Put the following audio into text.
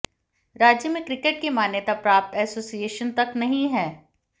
राज्य में क्रिकेट की एक मान्यता प्राप्त एसोसिएशन तक नहीं है